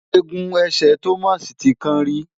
Egun ẹsẹ̀ Thomas ti kán rí.